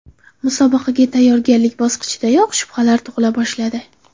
Musobaqaga tayyorgarlik bosqichidayoq shubhalar tug‘ila boshladi.